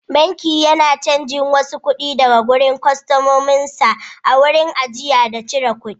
Banki yana cajin wasu kuɗi daga kwastomomin sa a wurin ajiye da cire kuɗi.